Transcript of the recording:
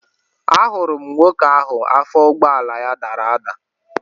Ahụrụ m nwoke ahụ afọ ụgbọala ya dara ada